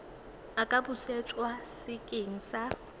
a ka busetswa sekeng sa